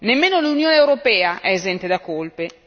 Nemmeno l'Unione europea è esente da colpe.